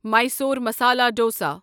Mysore masala dosa